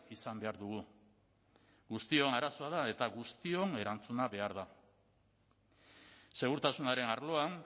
izan behar dugu guztion arazoa da eta guztion erantzuna behar da segurtasunaren arloan